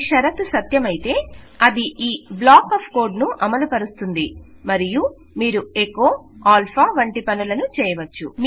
షరతు సత్యమైతే అది ఈ బ్లాక్ ఆఫ్ కోడ్ ను అమలుపరుస్తుంది మరియు మీరు ఎకొ ఆల్ఫా వంటి పనులను చేయవచ్చు